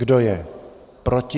Kdo je proti?